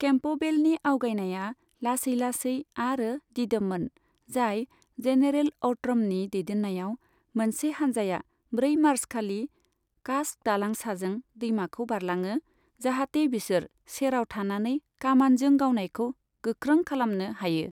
केम्पबेलनि आवगायनाया लासै लासै आरो दिदोममोन, जाय जेनेरेल औट्रमनि दैदेन्नायाव मोनसे हान्जाया ब्रै मार्चखालि कास्क दालां साजों दैमाखौ बारलाङो जाहाथे बिसोर सेराव थानानै कामानजों गावनायखौ गोख्रों खालामनो हायो।